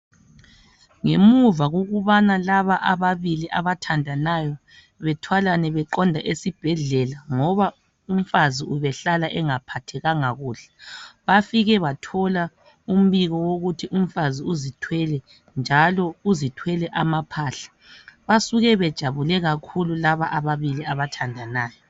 Ngemuva kokubana laba ababili abathandanayo bethwalane beqonde esibhedlela ngoba umfazi ubehlala engaphathekanga kuhle, bafike bathola umbiko wokuthi umfazi uzithwele njalo uzithwele amaphahla. Basuke bejabule kakhulu laba abalili abathandanayo.